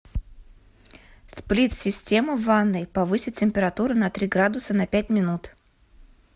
сплит система в ванной повысить температуру на три градуса на пять минут